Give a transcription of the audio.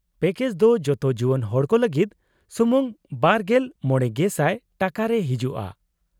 -Package ᱫᱚ ᱡᱚᱛᱚ ᱡᱩᱣᱟᱹᱱ ᱦᱚᱲᱠᱚ ᱞᱟᱹᱜᱤᱫ ᱥᱩᱢᱩᱝ ᱒᱕,᱐᱐᱐/ᱼ ᱴᱟᱠᱟ ᱨᱮ ᱦᱤᱡᱩᱜᱼᱟ ᱾